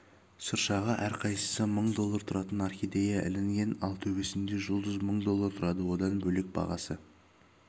шыршаға әрқайсысы мың доллар тұратын орхидея ілінген ал төбесіндегі жұлдыз мың доллар тұрады одан бөлек бағасы